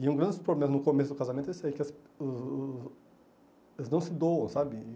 E um grande problema no começo do casamento é esse aí, que as uh elas não se doam, sabe?